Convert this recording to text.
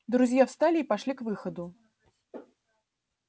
друзья встали и пошли к выходу